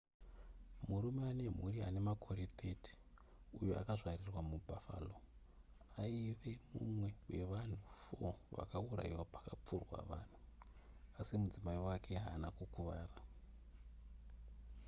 murume ane mhuri ane makore 30 uyo akazvarirwa mubuffalo aive mumwe wevanhu 4 vakaurayiwa pakapfurwa vanhu asi mudzimai wake haana kukuvara